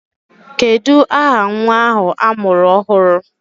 Kedụ aha nwa ahụ a mụrụ ọhụrụ?